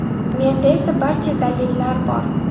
Menda esa barcha dalillar bor.